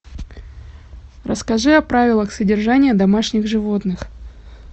расскажи о правилах содержания домашних животных